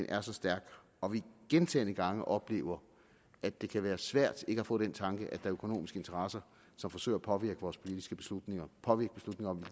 er så stærk og vi gentagne gange oplever at det kan være svært ikke at få den tanke at der er økonomiske interesser som forsøger at påvirke vores politiske beslutninger påvirke beslutninger om